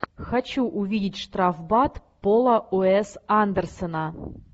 хочу увидеть штрафбат пола уэс андерсона